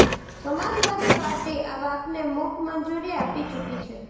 સમાજવાદી party આ વાતને મૂક મંજૂરી આપી ચૂકી છે